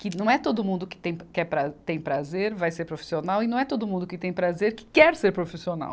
Que não é todo mundo que tem, que é, tem prazer vai ser profissional e não é todo mundo que tem prazer que quer ser profissional.